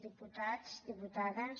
diputats diputades